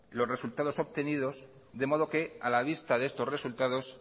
los resultados obtenidos de modo que a la vista de estos resultados